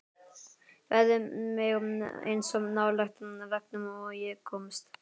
Færði mig eins nálægt veggnum og ég komst.